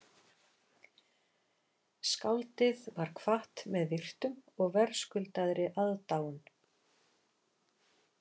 Skáldið var kvatt með virktum og verðskuldaðri aðdáun